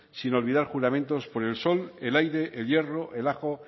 sin olvidar juramentos por el sol el aire el hierro el ajo